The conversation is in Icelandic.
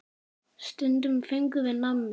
Stundum fengum við nammi.